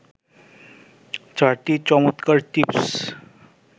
৪টি চমৎকার টিপস